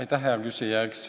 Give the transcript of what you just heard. Aitäh, hea küsija!